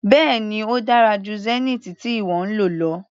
Bẹ́ẹ̀ni ó dára jù Zenith tí ìwọ ń lò lọ.